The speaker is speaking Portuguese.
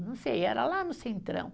Não sei, era lá no centrão.